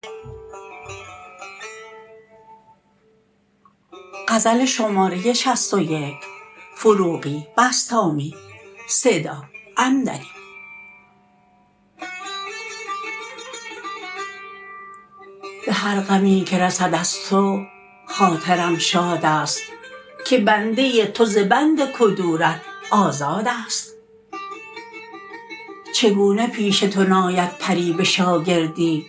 به هر غمی که رسد از تو خاطرم شاد است که بنده تو ز بند کدورت آزاد است چگونه پیش تو ناید پری به شاگردی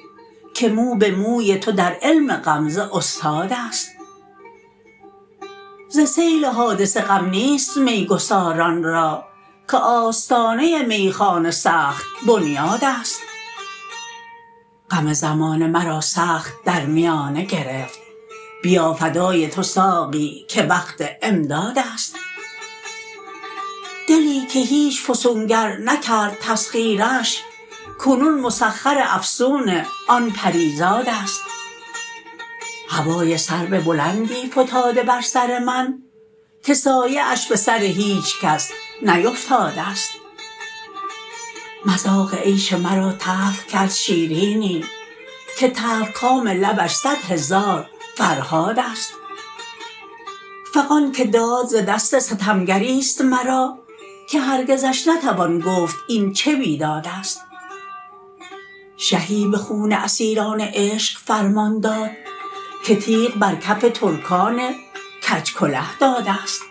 که مو به موی تو در علم غمزه استاد است ز سیل حادثه غم نیست میگساران را که آستانه میخانه سخت بنیاد است غم زمانه مرا سخت در میانه گرفت بیا فدای تو ساقی که وقت امداد است دلی که هیچ فسونگر نکرد تسخیرش کنون مسخر افسون آن پری زاد است هوای سرو بلندی فتاده بر سر من که سایه اش به سر هیچکس نیفتاده است مذاق عیش مرا تلخ کرد شیرینی که تلخ کام لبش صدهزار فرهاد است فغان که داد ز دست ستمگری است مرا که هرگزش نتوان گفت این چه بیداد است شهی به خون اسیران عشق فرمان داد که تیغ بر کف ترکان کج کله داد است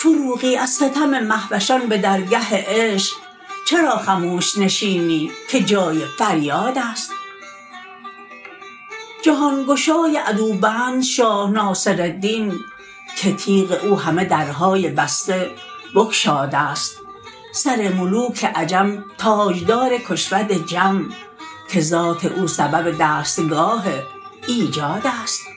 فروغی از ستم مهوشان به درگه عشق چرا خموش نشینی که جای فریاد است جهان گشای عدوبند شاه ناصردین که تیغ اوهمه درهای بسته بگشاد است سر ملوک عجم تاجدار کشود جم که ذات او سبب دستگاه ایجاد است